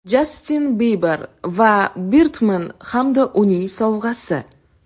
Jastin Biber va Birdman hamda uning sovg‘asi.